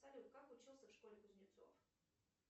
салют как учился в школе кузнецов